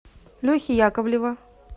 лехи яковлева